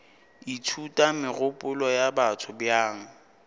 ithuta megopolo ya batho bjang